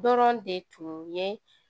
Dɔrɔn de tun ye